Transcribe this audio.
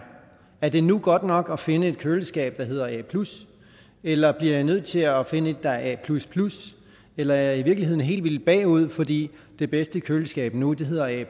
er det nu godt nok at finde et køleskab der hedder a eller bliver jeg nødt til at finde et der er a eller er jeg i virkeligheden helt vildt bagud fordi det bedste køleskab nu hedder a